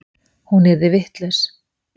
Hún yrði vitlaus.